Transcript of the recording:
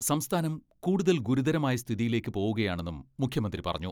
സംസ്ഥാനം കൂടുതൽ ഗുരുതരമായ സ്ഥിതിയിലേക്ക് പോവുകയാണെന്നും മുഖ്യമന്ത്രി പറഞ്ഞു.